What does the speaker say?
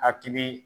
Hakili